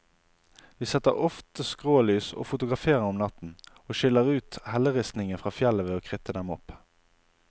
Vi setter ofte skrålys og fotograferer om natten, og skiller ut helleristningen fra fjellet ved å kritte dem opp.